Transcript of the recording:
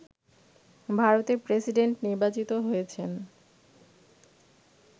ভারতের প্রেসিডেন্ট নির্বাচিত হয়েছেন